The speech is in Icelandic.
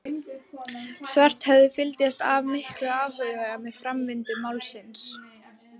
Svarthöfði fylgdist af miklum áhuga með framvindu málsins.